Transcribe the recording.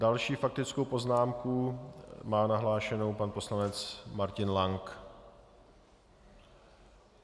Další faktickou poznámku má nahlášenu pan poslanec Martin Lank.